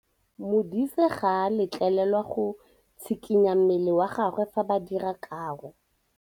Modise ga a letlelelwa go tshikinya mmele wa gagwe fa ba dira karô.